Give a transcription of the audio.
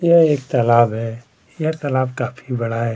यह एक तालाब है यह तालाब काफी बड़ा है।